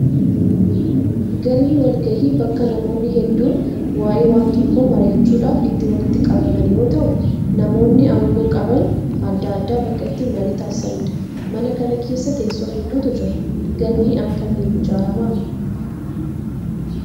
Galmi walgayii bakka namoonni hedduun waaye waan tokkoo mari'achuudhaaf itti walitti qabaman yoo ta'u, namoonni aangoo qaban adda addaa bakka itti marii taasisanidha. Mana kana keessa tessoo hedduutu jira. Galmi akkamiin ijaarama?